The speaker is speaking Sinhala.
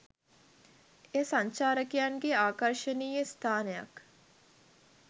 එය සංචාරකයන්ගේ ආකර්ශනීය ස්ථානයක්